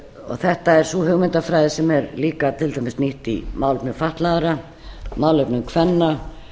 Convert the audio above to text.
þetta er sú hugmyndafræði sem er líka til dæmis nýtt í málefnum fatlaðra málefnum kvenna